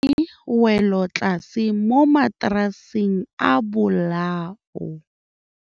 Re bone wêlôtlasê mo mataraseng a bolaô.